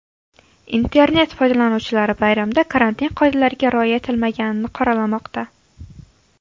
Internet foydalanuvchilari bayramda karantin qoidalariga rioya etilmaganini qoralamoqda.